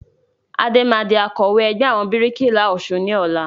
Adé máa di Akọ̀wẹ́ ẹgbẹ́ àwọn bíríkìlà Ọ̀sun ni ọ̀la